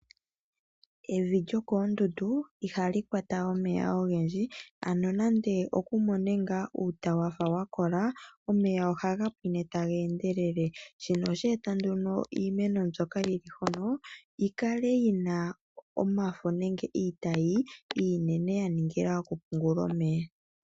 Evi lyokoondundu ihali kwata omeya ogendji, ano nande oku mone ngaa uuta waga wa kola, omeya ohaga pwime taga endelele. Shino oshe eta nduno iimeno m yono yi li hono yi kale yi na omafo nenge iitayi